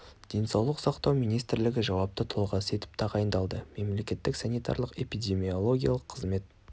денсаулық сақтау министрлігі жауапты тұлғасы етіп тағайындалды мемлекеттік санитарлық-эпидемиологиялық қызмет